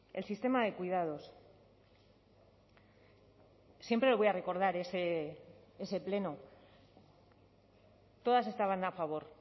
el sistema de cuidados siempre voy a recordar ese pleno todas estaban a favor